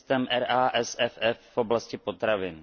systém RASFF voblasti potravin.